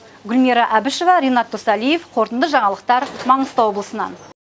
гүлмира әбішева ренат досалиев қорытынды жаңалықтар маңғыстау облысынан